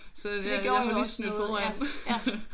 Nåh så det gjorde jo også noget